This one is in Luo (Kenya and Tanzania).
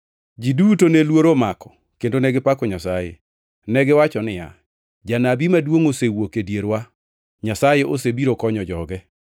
Ji duto ne luoro omako kendo negipako Nyasaye. Negiwacho niya, “Janabi maduongʼ osewuok e dierwa. Nyasaye osebiro konyo joge.”